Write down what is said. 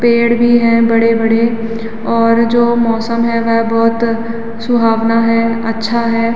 पेड़ भी हैं बड़े-बड़े और जो मौसम है वह बोहोत सुहाना है अच्छा है।